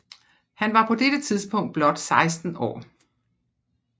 Han var på dette tidspunkt blot 16 år